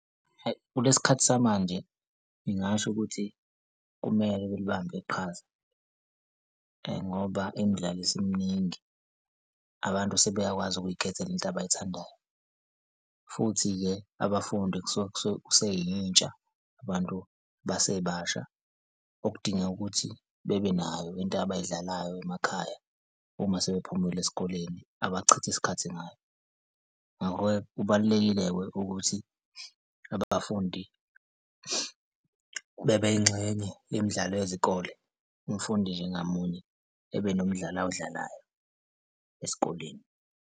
Kulesi khathi samanje ngingasho ukuthi kumele libambe iqhaza ngoba imidlalo isiminingi, abantu sebeyakwazi ukuy'khethela into abayithandayo. Futhi-ke abafundi kusuke kuseyintsha abantu abasebasha okudingeka ukuthi bebe nayo into abay'dlalayo emakhaya uma sebephumile esikoleni abachitha isikhathi ngayo. Ngakho-ke kubalulekile-ke ukuthi abafundi bebe yingxenye yemidlalo yezikole, umfundi nje ngamunye ebe nomdlalo awudlalayo esikoleni.